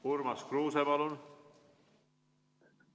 Urmas Kruuse, palun!